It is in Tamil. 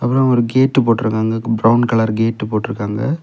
அப்ரோ ஒரு கேட் போட்டுருக்காங்க பிரவுன் கலர் கேட் போட்டுருக்காங்க.